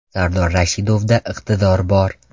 Sardor Rashidovda iqtidor bor.